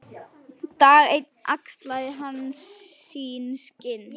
Dag einn axlaði hann sín skinn.